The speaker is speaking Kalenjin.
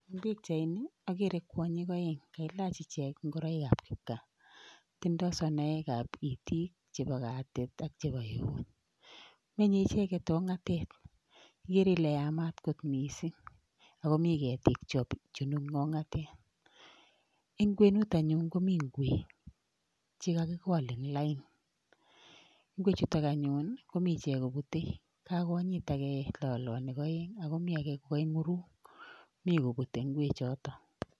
Eng pichaini akere kwanyik aeng kailach ichek ngoroikab kipkaa tindoi sonoekab itik, chepo katit ak chepo eut menye icheket ong'atet ikere ile yamat kot missing akomi ketik chebunu ong'atet ,en kwenut anyun komii ngwek chekakikol en lain ngwechutok anyun kimii icheket kobute kakonyit ake lolonik aeng akomi ake kokoing'uruk mi kobute ngwechoto.